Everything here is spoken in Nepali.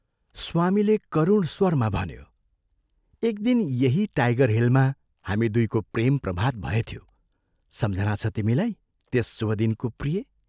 स्वामीले करुण स्वरमा भन्यो, "एक दिन यही टाइगर हिलमा हामी दुइको प्रेम प्रभात भएथ्यो सम्झना छ तिमीलाई त्यस शुभ दिनको प्रिये!